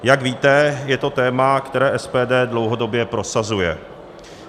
Jak víte, je to téma, které SPD dlouhodobě prosazuje.